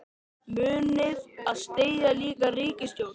Munið þið styðja slíka ríkisstjórn?